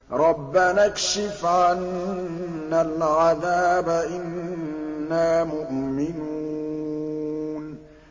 رَّبَّنَا اكْشِفْ عَنَّا الْعَذَابَ إِنَّا مُؤْمِنُونَ